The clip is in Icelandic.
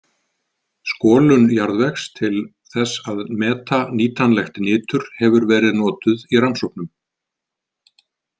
Skolun jarðvegs til þess að meta nýtanlegt nitur hefur verið notuð í rannsóknum.